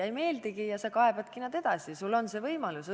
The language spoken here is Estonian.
Ei meeldigi ja sa kaebadki need edasi, sul on see võimalus.